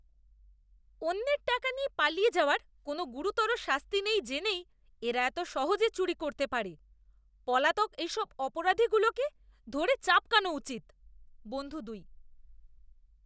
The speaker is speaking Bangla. অন্যের টাকা নিয়ে পালিয়ে যাওয়ার কোনও গুরুতর শাস্তি নেই জেনেই এরা এত সহজে চুরি করতে পারে। পলাতক এসব অপরাধীগুলোকে ধরে চাবকানো উচিৎ। বন্ধু দুই